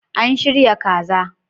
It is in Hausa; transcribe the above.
An shirya kaza.